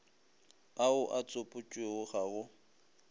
ao a tsopotšwego ga go